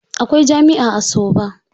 Akwai jami'a a Soba.